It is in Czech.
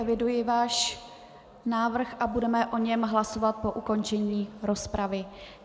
Eviduji váš návrh a budeme o něm hlasovat po ukončení rozpravy.